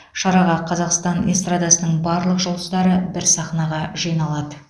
шараға қазақстан эстрадасының барлық жұлдыздары бір сахнаға жиналады